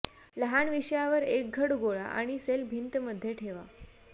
लहान विषयावर एक घड गोळा आणि सेल भिंत मध्ये ठेवा